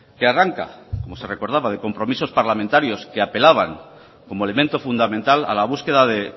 que arranca como se recordaba de compromisos parlamentarios que apelaban como elemento fundamental a la búsqueda de